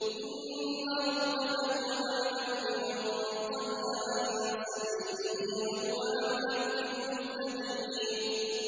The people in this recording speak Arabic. إِنَّ رَبَّكَ هُوَ أَعْلَمُ بِمَن ضَلَّ عَن سَبِيلِهِ وَهُوَ أَعْلَمُ بِالْمُهْتَدِينَ